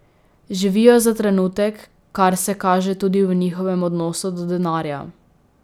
Živijo za trenutek, kar se kaže tudi v njihovem odnosu do denarja.